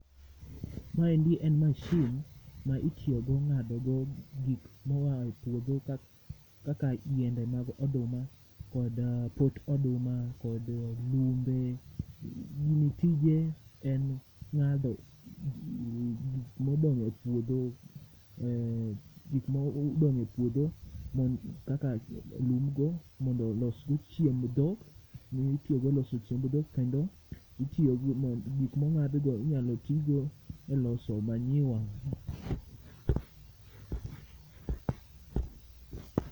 Maendi en mashin ma itiyogo ng'ado go gik moa e puodho kaka yiende mag oduma kod pot oduma, kod lumbe gini tije en ng'ado gik modong' e puodho kaka lumgo mondo losgo chiemb dhok mitiyogo e loso chiemb dhok kendo gik mong'adgo inyalo tigo e loso manyiwa.